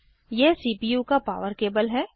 यह सीपीयू का power cable है